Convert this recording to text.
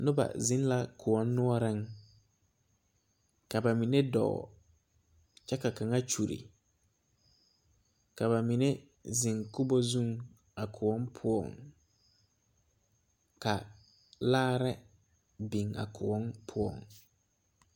Noba zeŋ la koɔ noɔreŋ ka ba mine dɔɔ kyɛ ka kaŋa kyulli ka ba mine zeŋ kubo zuŋ a koɔ poɔ ka laare biŋ a koɔ poɔŋ.